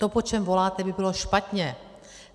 To, po čem voláte, by bylo špatně.